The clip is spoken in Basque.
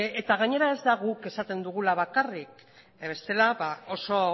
eta gainera ez da guk esaten dugula bakarrik bestela oso